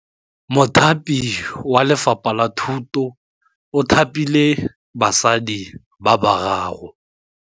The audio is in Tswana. Mothapi wa Lefapha la Thutô o thapile basadi ba ba raro.